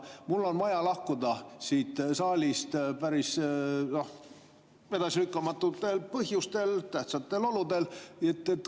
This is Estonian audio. Mul on vaja lahkuda siit saalist edasilükkamatutel põhjustel, tähtsatel oludel.